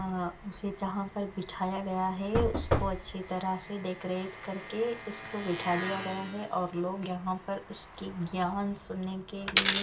उसे यहां पर बिठाया गया है उसको अच्छी तरह से डेकोरेट करके उसको बिठा दिया गया है और लोग यहां पर उसकी ज्ञान सुनने के लिए--